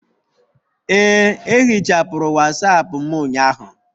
Ee, ehichapụrụ wasapu m ụnyaahụ